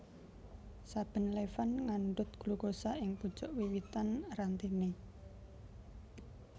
Saben levan ngandhut glukosa ing pucuk wiwitan rantene